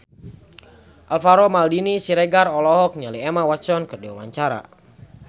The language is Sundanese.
Alvaro Maldini Siregar olohok ningali Emma Watson keur diwawancara